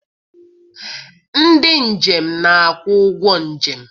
Ndị njem na-akwụ ụgwọ njem.